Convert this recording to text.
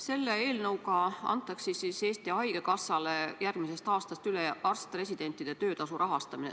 Selle eelnõuga antakse Eesti Haigekassale järgmisest aastast üle arst-residentide töötasu rahastamine.